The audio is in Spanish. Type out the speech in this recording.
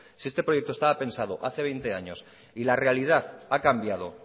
si este proyecto estaba pensado hace veinte años y la realidad ha cambiado